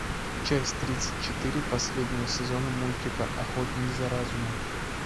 часть тридцать четыре последнего сезона мультика охотник за разумом